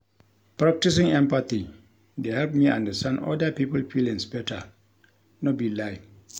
Practicing empathy dey help me understand oda pipo feelings beta, no be lie.